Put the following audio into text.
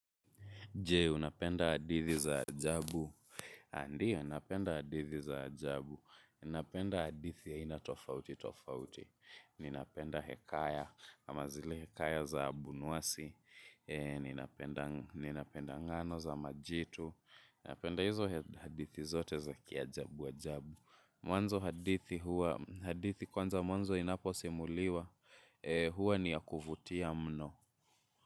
Jee, unapenda hadithi za ajabu. Andiyo, napenda hadithi za ajabu. Napenda hadithi ya ina tofauti, tofauti. Ninapenda hekaya, ama zile hekaya za abunwasi. Ninapenda ng'ano za majitu. Napenda hizo hadithi zote za kiajabu, ajabu. Mwanzo hadithi huwa, hadithi kwanza mwanzo inapo simuliwa. Hua ni ya kuvutia mno.